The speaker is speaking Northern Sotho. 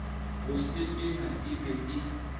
go sepela e be e